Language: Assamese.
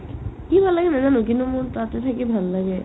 কি ভাল লাগে নেযানো কিন্তু মোৰ তাতে থাকি ভাল লাগে